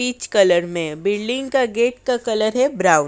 Peach colour में building का gate का कलर है ब्राउन ।